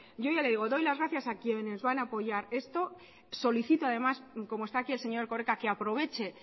yo ya le digo doy las gracias a quienes van a apoyar esto solicito además como está aquí el señor erkoreka que aproveche